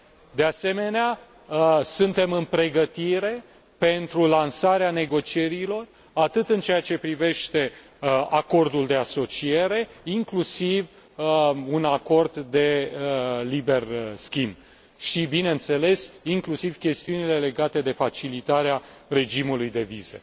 de asemenea, suntem în pregătire pentru lansarea negocierilor în ceea ce privește acordul de asociere, inclusiv un acord de liber schimb și, bineînțeles, inclusiv chestiunile legate de facilitarea regimului de vize.